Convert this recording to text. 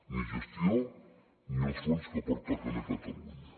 ni gestió ni els fons que pertoquen a catalunya